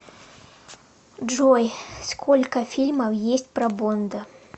джой сколько фильмов есть про бонда